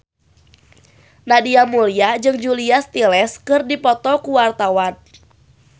Nadia Mulya jeung Julia Stiles keur dipoto ku wartawan